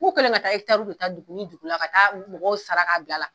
K'u kɛlen don ka taa da dugu ni dugu ka taa mɔgɔw saraka bila la.